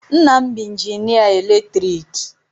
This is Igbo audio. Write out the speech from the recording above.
Nna m bụ injinịa eletriki.